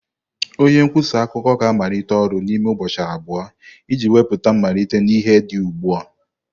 Onye nkwusa akụkọ ga-amalite ọrụ n'ime ụbọchị abụọ iji wepụta mmelite na ihe dị ugbu a.